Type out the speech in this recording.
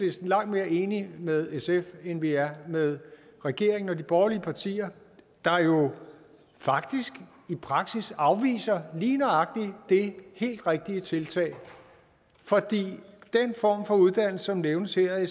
langt mere enig med sf end vi er med regeringen og de borgerlige partier der faktisk i praksis afviser lige nøjagtig det helt rigtige tiltag for den form for uddannelse som nævnes her af